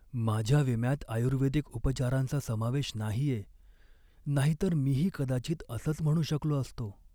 माझ्या विम्यात आयुर्वेदिक उपचारांचा समावेश नाहीये, नाहीतर मीही कदाचित असंच म्हणू शकलो असतो.